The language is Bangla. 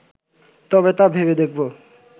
তবে তা ভেবে দেখব